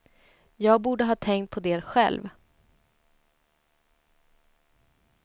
Jag borde ha tänkt på det själv.